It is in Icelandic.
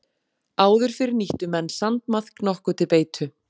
Áður fyrr nýttu menn sandmaðk nokkuð til beitu.